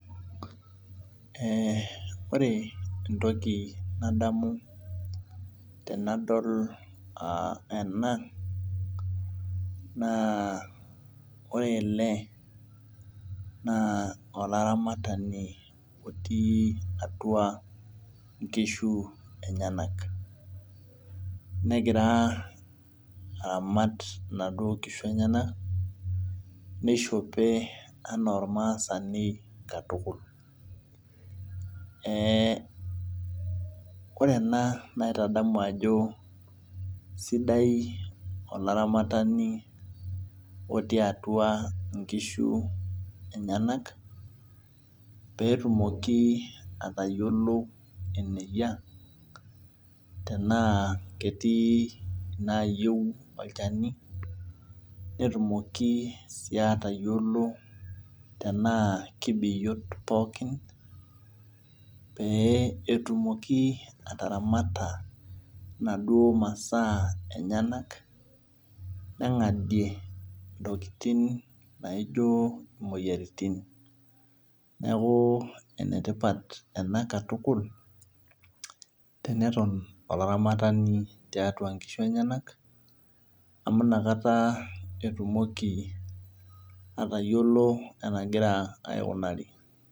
Ee ore entoki nadamu tenadol ena na ore ele na olaramatani otii atua nkishu enyenak negira aramat naduo kishu enyenak nishope ana ormaasani katukul ee ore ena naitadamu ajo sidai olaramatani otiu atua nkishu enyenak petumoki atayiolo eneyia tana ketii nayieu olchani netumoki si atayiolo tana kebiot pookin petumoki ataramata naduo masaa enyenak nengadie ntokitin naijo moyiaritin neaku enetipa ena katukul teneton olaramatani tiatua nkishu enyenak amu nakata etumoki atayiolo enaigira aikunari.